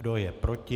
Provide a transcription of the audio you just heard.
Kdo je proti?